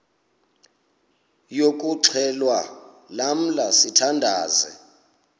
yokuxhelwa lamla sithandazel